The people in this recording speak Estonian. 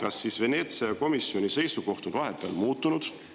Äkki Veneetsia komisjoni seisukoht on vahepeal muutunud.